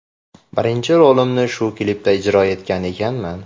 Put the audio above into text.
Birinchi rolimni shu klipda ijro etgan ekanman.